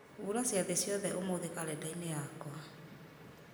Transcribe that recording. hura ciathĩ ciothe ũmũthĩ karenda-inĩ yakwa